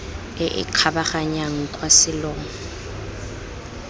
e e kgabaganyang kwa selong